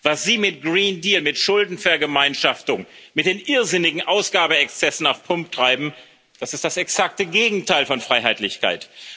Was Sie mit Green Deal mit Schuldenvergemeinschaftung, mit den irrsinnigen Ausgabeexzessen auf Pump treiben, das ist das exakte Gegenteil von Freiheitlichkeit.